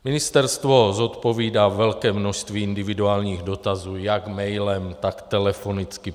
Ministerstvo zodpovídá velké množství individuálních dotazů jak mailem, tak telefonicky.